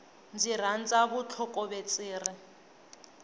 ndzi rhandza vutlhokovetseri